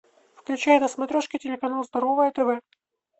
включай на смотрешке телеканал здоровое тв